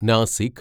Nashik